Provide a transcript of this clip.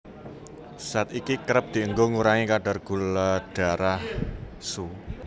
Zat iki kerep dienggo ngurangi kadar gula darah